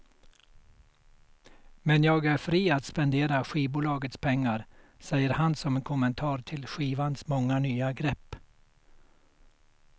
Men jag är fri att spendera skivbolagets pengar, säger han som kommentar till skivans många nya grepp.